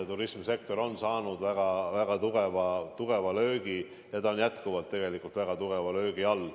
Turismisektor on saanud väga-väga tugeva tugeva löögi ja on tegelikult jätkuvalt väga tugeva löögi all.